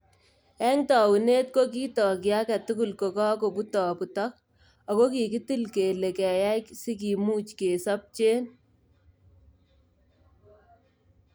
Eng taunet, kokitok kiake tugul kokakobutobutok, ako kikitil kele keyay kinsikimuch kesopche.